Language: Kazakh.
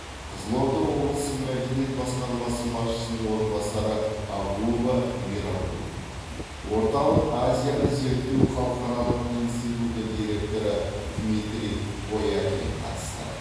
қызылорда облысы мәдениет басқармасы басшының орынбасары абуова мейрамкүл орталық азияны зерттеу халықаралық институты директоры дмитрий воякин қатысты